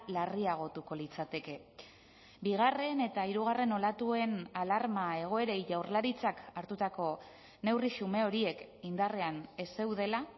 larriagotuko litzateke bigarren eta hirugarren olatuen alarma egoerei jaurlaritzak hartutako neurri xume horiek indarrean ez zeudela